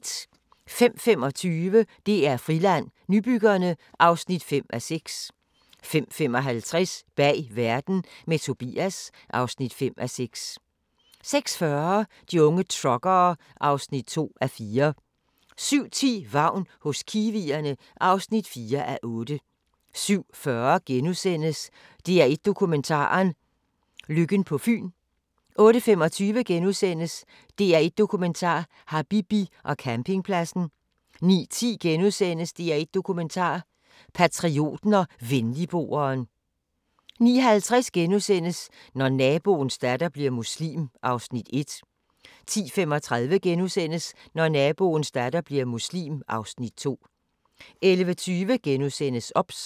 05:25: DR Friland: Nybyggerne (5:6) 05:55: Bag verden – med Tobias (5:6) 06:40: De unge truckere (2:4) 07:10: Vagn hos kiwierne (4:8) 07:40: DR1 Dokumentaren: Lykken på Fyn * 08:25: DR1 Dokumentar: Habibi og campingpladsen * 09:10: DR1 Dokumentar: Patrioten og Venligboeren * 09:50: Når naboens datter bliver muslim (Afs. 1)* 10:35: Når naboens datter bliver muslim (Afs. 2)* 11:20: OBS *